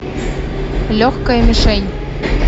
легкая мишень